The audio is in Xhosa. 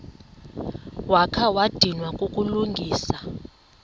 wakha wadinwa kukulungisa